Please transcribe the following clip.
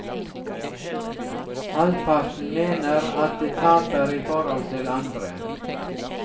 Halvparten mener at de taper i forhold til andre.